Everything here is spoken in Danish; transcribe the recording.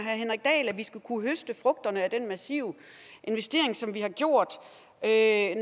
at vi skal kunne høste frugterne af den massive investering som vi har gjort